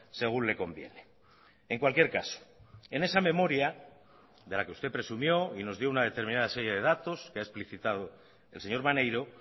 según le conviene en cualquier caso en esa memoria de la que usted presumió y nos dio una determinada serie de datos que ha explicitado el señor maneiro